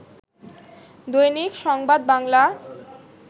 দৈনিক সংবাদ বাংলা